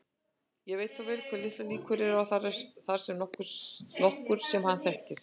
Veit þó vel hve litlar líkur eru á að þar sé nokkur sem hann þekkir.